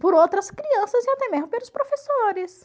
por outras crianças e até mesmo pelos professores.